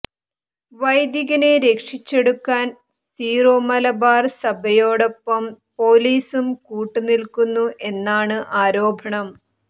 വൈദികനെ രക്ഷിച്ചെടുക്കാൻ സീറോ മലബാർ സഭയോടൊപ്പം പോലീസും കൂട്ട് നിൽക്കുന്നു എന്നാണ് ആരോപണം